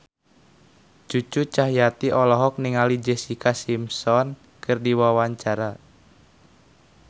Cucu Cahyati olohok ningali Jessica Simpson keur diwawancara